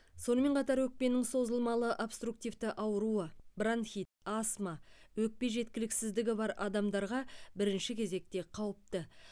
сонымен қатар өкпенің созылмалы обструктивті ауруы бронхит астма өкпе жеткіліксіздігі бар адамдарға бірінші кезекте қауіпті